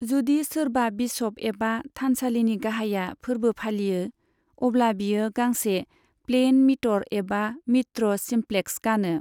जुदि सोरबा बिशप एबा थानसालिनि गाहाया फोर्बो फालियो, अब्ला बियो गांसे प्लेइन मिटर एबा मित्र सिमप्लेक्स गानो।